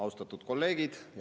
Austatud kolleegid!